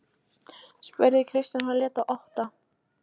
spurði Christian og leit á Otta.